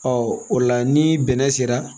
Ɔ o la ni bɛnɛ sera